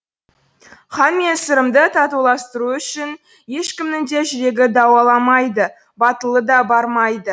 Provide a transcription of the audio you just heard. хан мен сырымды татуластыру үшін ешкімнің де жүрегі дауаламайды батылы да бармайды